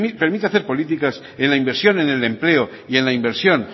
permite hacer políticas en la inversión en el empleo y en la inversión